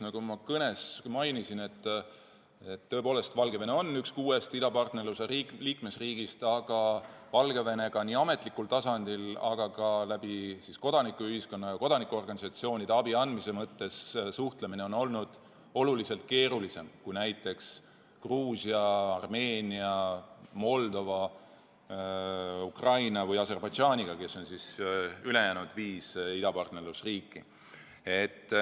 Nagu ma kõnes mainisin, tõepoolest, Valgevene on üks kuuest idapartnerluse liikmesriigist, aga suhtlus Valgevenega nii ametlikul tasandil kui ka kodanikuühiskonna kaudu, kodanikuorganisatsioonide abi andmise kaudu on olnud oluliselt keerulisem kui Gruusia, Armeenia, Moldova, Ukraina või Aserbaidžaaniga, kes on ülejäänud viis idapartnerluse riiki.